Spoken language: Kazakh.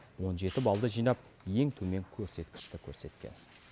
он жеті баллды жинап ең төмен көрсеткішті көрсеткен